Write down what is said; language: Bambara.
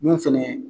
Mun fɛnɛ